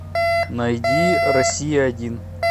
найди россия один